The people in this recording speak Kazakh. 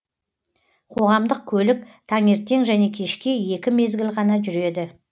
қоғамдық көлік таңертең және кешке екі мезгіл ғана жүреді